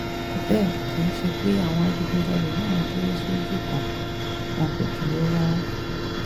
bẹ́ẹ̀ kì í ṣe pé àwọn adigunjalè náà dúró sójú kan wọn kò dúró rárá